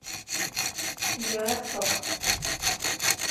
евросток